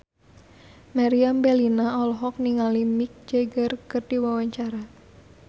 Meriam Bellina olohok ningali Mick Jagger keur diwawancara